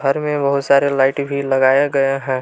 घर में बहुत सारे लाइट भी लगाया गया है।